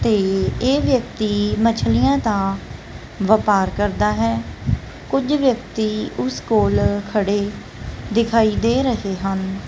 ਤੇ ਇਹ ਵਿਅਕਤੀ ਮਛਲੀਆਂ ਤਾਂ ਵਪਾਰ ਕਰਦਾ ਹੈ ਕੁਝ ਵਿਅਕਤੀ ਉਸ ਕੋਲ ਖੜੇ ਦਿਖਾਈ ਦੇ ਰਹੇ ਹਨ।